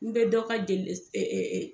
N be dɔ ka jeli s ɛ ɛ ɛ